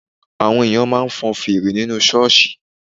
Àwọn èèyàn máa ń fọn fèrè nínú ṣọ́ọ̀ṣì